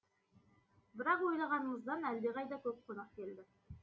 бірақ ойлағанымыздан әлдеқайда көп қонақ келді